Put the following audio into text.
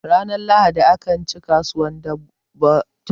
ranar lahadi akan ci kasuwar dabbata